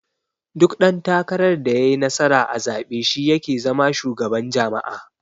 Duk dan takarar da yayi nasara a zabe shi yake zama shugaban jama'a.